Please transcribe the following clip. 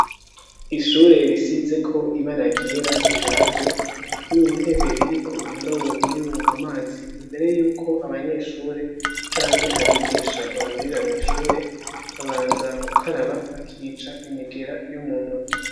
Ishure risizeko ibara ryera rishaje, n'intebe iriko indobo irimwo amazi imbere yuko abanyeshure canke abigisha bahurira mw'ishure babanza gukaraba bakica imigera yo mu ntoki.